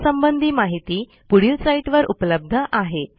यासंबंधी माहिती पुढील साईटवर उपलब्ध आहे